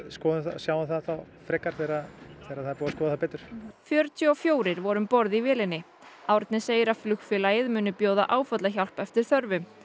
sjáum það þá frekar þegar það er búið að skoða það betur fjörutíu og fjórir voru í vélinni Árni segir að flugfélagið muni bjóða áfallahjálp eftir þörfum